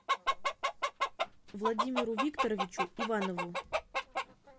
владимиру викторовичу иванову